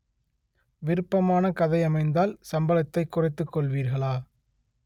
விருப்பமான கதை அமைந்தால் சம்பளத்தை குறைத்துக் கொள்வீர்களா